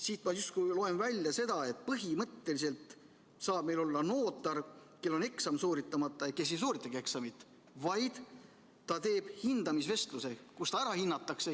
Siit ma loen justkui välja seda, et põhimõtteliselt saab meil olla notar, kellel on eksam sooritamata ja kes ei sooritagi eksamit, vaid ta osaleb hindamisvestlusel, kus ta ära hinnatakse.